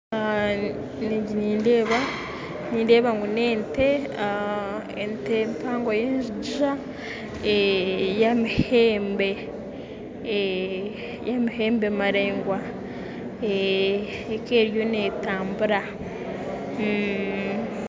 Egi nindeeba na ente empango eyenjigiza yamahembe maringwa ekaba eriyo netambura